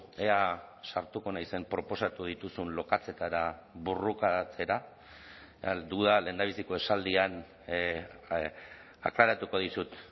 ea sartuko naizen proposatu dituzun lokatzetara borrokatzera duda lehendabiziko esaldian aklaratuko dizut